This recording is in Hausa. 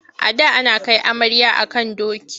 A da ana kai amarya a kan doki.